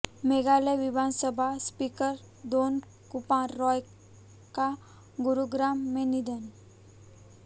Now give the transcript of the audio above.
मेघालय विधानसभा स्पीकर दोनकुपर रॉय का गुरुग्राम में निधन